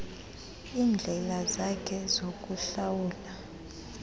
iindlela zakhe zokuhlawula